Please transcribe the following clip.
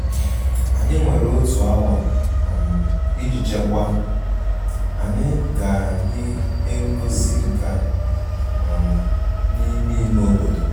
Anyị nwere otu awa um iji chekwaa, anyị gara ihe ngosi nka um n'ime ime obodo um